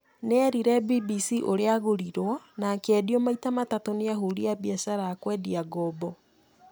Nĩ eerire BBC ũrĩa aagũrirũo na akĩendio maita matatũ nĩ ahũũri biacara a kũendia ngombo.